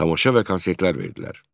Tamaşa və konsertlər verdilər.